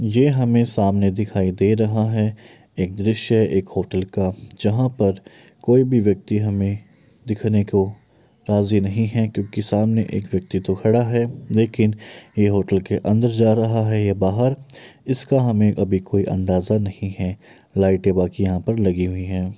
जो हमें सामने दिखाई दे रहा है एक दृश्य एक होटल का जहाँ पर कोई भी व्यक्ति हमें देखने को राजी नहीं है क्योंकि सामने एक व्यक्तित्व खड़ा है लेकिन यह होटल के अंदर जा रहा है या बाहर इसका हमें अभी कोई अंदाजा नहीं है लाईटें बाकी यहां पर लगी हुई है।